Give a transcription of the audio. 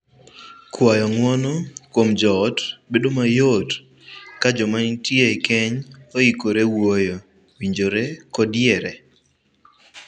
Kwayo ng'uono kuom joot bedo mayot ka joma nitie e keny oikore wuoyo, winjore, kod yiere.